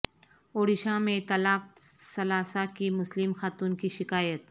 اڈیشہ میں طلاق ثلاثہ کی مسلم خاتون کی شکایت